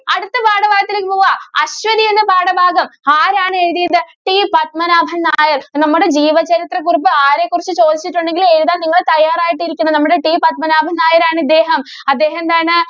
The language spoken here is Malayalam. അടുത്ത പാഠഭാഗത്തിലേക്ക് പോകാം. അശ്വനി എന്ന പാഠഭാഗം ആരാണ് എഴുതിയത്? T പത്മനാഭന്‍ നായര്‍. നമ്മടെ ജീവചരിത്രക്കുറിപ്പ് ആരെക്കുറിച്ചു ചോദിച്ചിട്ടുണ്ടെങ്കിലും എഴുതാന്‍ നിങ്ങള് തയ്യാറായിട്ടിരിക്കണം. നമ്മടെ T പത്മനാഭന്‍ നായരാണ് ഇദ്ദേഹം. അദ്ദേഹം എന്താണ്